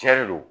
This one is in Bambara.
Cɛn de don